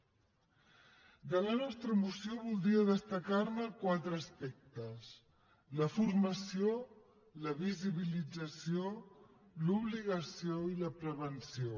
de la nostra moció voldria destacar ne quatre aspectes la formació la visibilització l’obligació i la prevenció